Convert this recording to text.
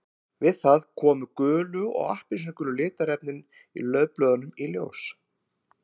Við það koma gulu og appelsínugulu litarefnin í laufblöðunum í ljós.